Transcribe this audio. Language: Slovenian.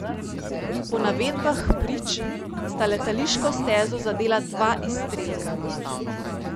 Po navedbah prič sta letališko stezo zadela dva izstrelka.